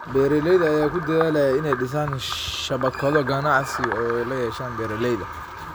Beeralayda ayaa ku dadaalaya inay dhisaan shabakado ganacsi oo ay la yeeshaan beeralayda.